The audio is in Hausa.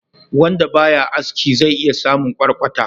Wanda ba ya aski zai iya samun kwarkwata.